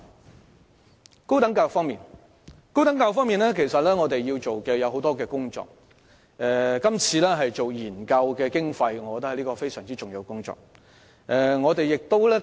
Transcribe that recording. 在高等教育方面，其實我們要做的工作很多，而我認為今次政府對研究工作的撥款是非常重要的一環。